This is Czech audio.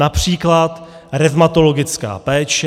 Například revmatologická péče.